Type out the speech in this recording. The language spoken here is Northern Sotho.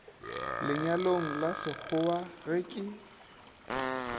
lenyalong la sekgowa ge ke